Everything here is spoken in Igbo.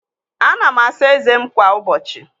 Ana m asa ezé m kwa ụbọchị.